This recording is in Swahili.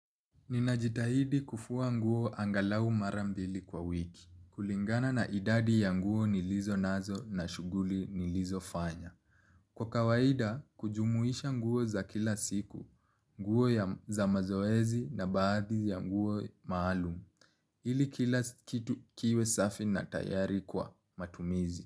Nina jitahidi kufua nguo angalau mara mbili kwa wiki. Kulingana na idadi ya nguo nilizo nazo na shughuli nilizo fanya. Kwa kawaida, kujumuisha nguo za kila siku, nguo za mazoezi na baadhi ya nguo maalum. Ili kila kitu kiwe safi na tayari kwa matumizi.